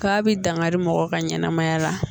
K'a bi dankari mɔgɔw ka ɲɛnamaya la